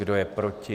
Kdo je proti?